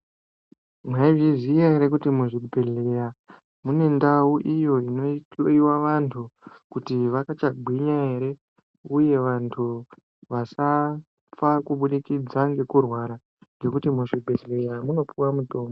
Maizviziya ere kuti muzvibhedhlera mune ndau iyo inohloyiwa vantu kuti vakachagwinya ere, uye vantu vasafa kubudikidza ngekurwara ngekuti muzvibhedhlera munopuwa mutombo.